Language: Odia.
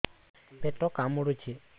ପେଟ କାମୁଡୁଛି